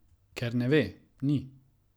Ker ne ve, ni.